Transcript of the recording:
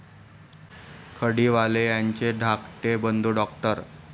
खडीवाले यांचे धाकटे बंधू डॉ.